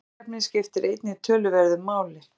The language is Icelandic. Byggingarefnið skiptir einnig töluverðu máli.